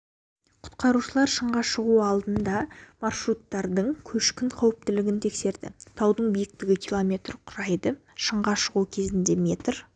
құтқарушылар шыңға шығу алдында маршруттардың көшкін қауіптілігін тексерді таудың биіктігі километр құрайды шыңға шығу кезінде метр